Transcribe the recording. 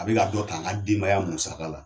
A bɛ ka dɔ ta an ka denbaya musaka la.